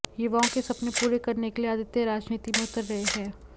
युवाओं के सपने पूरे करने के लिए आदित्य राजनीति में उतर रहे हैं